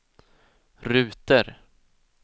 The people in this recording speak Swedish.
ruter